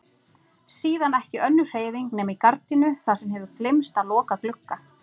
Síðan ekki önnur hreyfing nema í gardínu þar sem hefur gleymst að loka glugga.